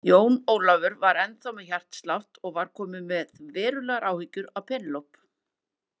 Jón Ólafur var ennþá með hjártslátt og var kominn með verulegar áhyggjur af Penélope.